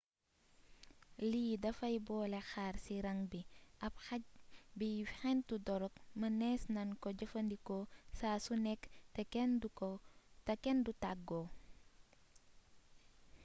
lii dafay boole xaar ci rang bi ab xaj by xentu dorog mëneees nan ko jëfandikoo saa su nekk te kenn du tàggoo